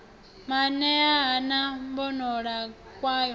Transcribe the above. maanea ha na mbonalo kwayo